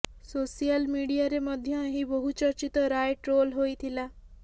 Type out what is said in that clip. social ମିଡିଆରେ ମଧ୍ୟ ଏହି ବହୁଚର୍ଚ୍ଚିତ ରାୟ ଟ୍ରୋଲ ହୋଇଥିଲା